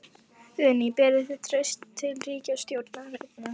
Guðný: Berið þið traust til ríkisstjórnarinnar?